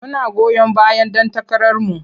Muna goyon bayan ɗan takararku.